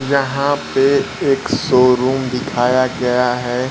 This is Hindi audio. यहां पे एक शोरूम दिखाया गया है।